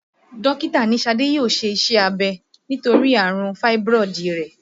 Dókítà ní Ṣadé yóò ṣe iṣẹ́ abẹ nítorí àrùn fáíbírọ̀dù rẹ̀